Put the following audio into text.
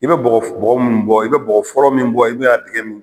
I be bɔgɔ f bɔgɔ munnu bɔ i be bɔgɔ fɔlɔ min bɔ i b'a tigɛ min